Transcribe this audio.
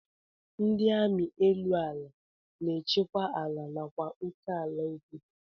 Ndị amị elu ala na-echekwa ala nakwa oké ala obodo